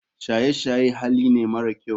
Shaye shaye Hali ne mara kyau.